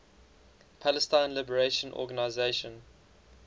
palestine liberation organization